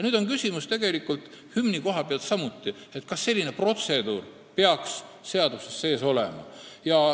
Nüüd on hümni koha pealt samuti küsimus, kas selline protseduur peaks seaduses sees olema.